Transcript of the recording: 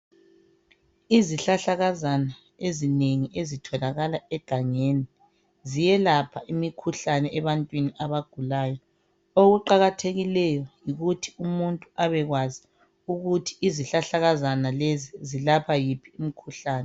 Izihlahlakazana ezinengi ezitholakala egangeni ziyelapha imikhuhlane ebantwini abagulayo. Okuqakathekileyo yikuthi umuntu abekwazi ukuthi izihlahlakazana lezi zilapha yiphi imikhuhlane.